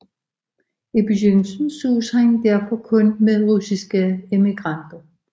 I begyndelsen sås han derfor kun med russiske emigranter